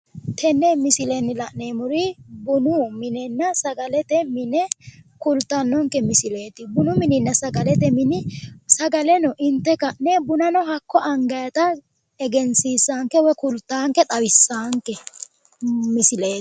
Tenne misilenni la'neemmori bunu minenna sagalete mine kultannonke misileeti. Bunu mininna sagalete mini sagaleno inte ka'ne bunano hakko angayita egensiissaanke woyi kultaanke xawissaanke misileeti.